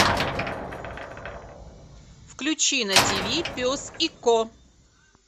включи на тиви пес и ко